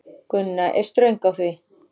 Gunna er ströng á því.